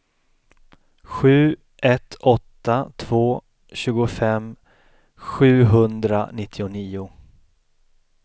sju ett åtta två tjugofem sjuhundranittionio